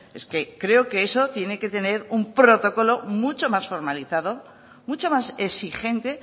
es que creo que eso tiene que tener un protocolo mucho más formalizado mucho más exigente